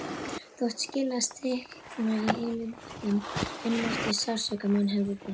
Þú átt skilið að stikna í eilífum innvortis sársauka, mannhelvíti.